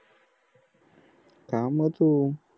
खा मग तू